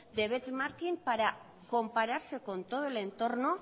para compararse con todo el entorno